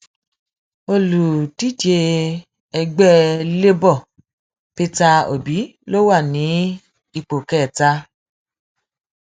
olùdíje ẹgbẹ labour peter obi ló wà ní ipò kẹta